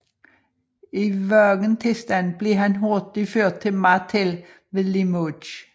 I vågen tilstand blev han hurtigt ført til Martel ved Limoges